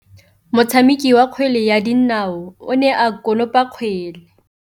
Motshameki wa kgwele ya dinaô o ne a konopa kgwele.